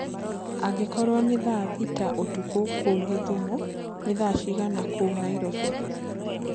angĩkorwo ni thaa thĩtaũtũkũ kũũ gĩthũmo ni thaa cĩĩgana kũũ naĩrobĩ